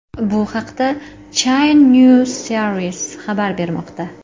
Bu haqda China News Service xabar bermoqda .